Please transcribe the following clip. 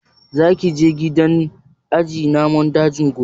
Za ki je gidan aje namun daji gobe?